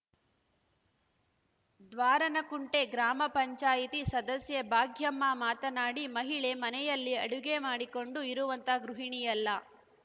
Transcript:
ದ್ವಾರನಕುಂಟೆ ಗ್ರಾಮಪಂಚಾಯತಿ ಸದಸ್ಯೆ ಭಾಗ್ಯಮ್ಮ ಮಾತನಾಡಿ ಮಹಿಳೆ ಮನೆಯಲ್ಲಿ ಅಡುಗೆ ಮಾಡಿಕೊಂಡು ಇರುವಂತ ಗೃಹಿಣಿಯಲ್ಲ